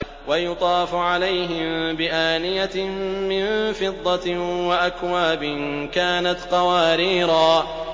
وَيُطَافُ عَلَيْهِم بِآنِيَةٍ مِّن فِضَّةٍ وَأَكْوَابٍ كَانَتْ قَوَارِيرَا